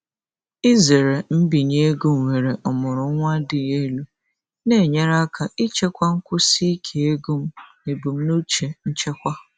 Izere mbinye ego nwere ọmụrụ nwa dị elu na-enyere aka ichekwa nkwụsi ike ego m na ebumnuche nchekwa.